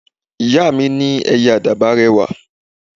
Ìyá mi ní Ẹyẹ Àdàbà rẹwà